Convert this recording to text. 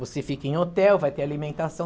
Você fica em hotel, vai ter alimentação.